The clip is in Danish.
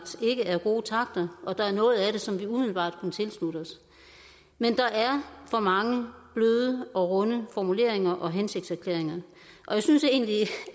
ikke er gode takter og der er noget af det som vi umiddelbart kan tilslutte os men der er for mange bløde og runde formuleringer og hensigtserklæringer og jeg synes egentlig